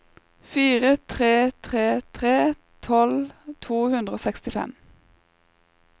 fire tre tre tre tolv to hundre og sekstifem